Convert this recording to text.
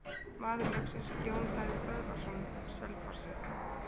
Maður leiksins: Jón Daði Böðvarsson Selfossi.